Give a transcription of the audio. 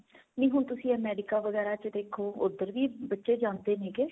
ਨਹੀਂ ਹੁਣ ਤੁਸੀਂ America ਵਗੈਰਾ ਚ ਦੇਖੋ ਉੱਧਰ ਵੀ ਬੱਚੇ ਜਾਂਦੇ ਨੇਗੇ